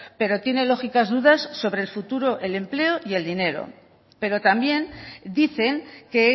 pero tiene lógicas dudas sobre el futuro el empleo y el dinero pero también dicen que